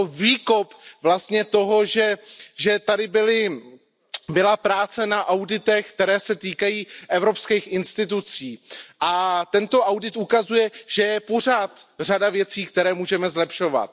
Je to výkop vlastně toho, že tady byla práce na auditech, které se týkají evropských institucí. A tento audit ukazuje, že je pořád řada věcí, které můžeme zlepšovat.